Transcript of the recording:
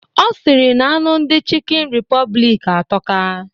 Ọ sịrị na anụ ndị Chịkịn Repọblik atọka.